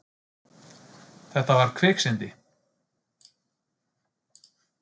Þetta var kviksyndi.